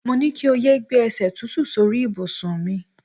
Mo ní kí o yé gbé e̩sè̩ tútù sórí ìbùsùn mi.